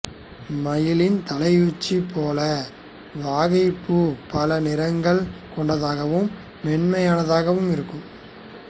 மயிலின் தலையுச்சி போல வாகைப் பூ பல நிறங்கள் கொண்டதாகவும் மென்மையானதாகவும் இருக்கும்